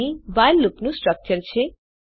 અહીં વ્હાઇલ લૂપનું સ્ટ્રક્ચર છે